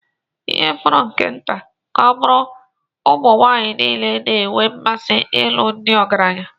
ihe fọrọ nke nta ka ọ bụrụ ụmụ nwanyị niile na-enwe mmasị ịlụ ndị ọgaranya